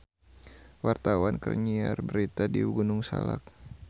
Wartawan keur nyiar berita di Gunung Salak